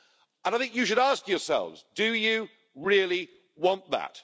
And I think you should ask yourselves do you really want that?